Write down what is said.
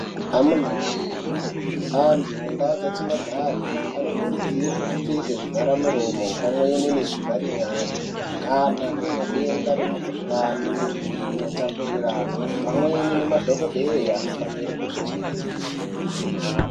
Amunawe, antu mundau dzatinogara anokurudzirwa kupfeka zvivharamiromo pamwechete nezvi vhari nyara kana kune denda remukhulane inotapuriranwa. Pamweni madhokodheya anofanira kuzvichengetedze.